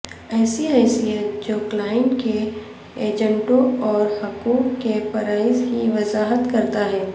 ایسی حیثیت جو کلائنٹ کے ایجنٹوں اور حقوق کے فرائض کی وضاحت کرتا ہے